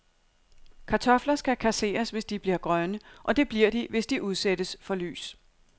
Kartofler skal kasseres, hvis de bliver grønne, og det bliver de, hvis de udsættes for lys.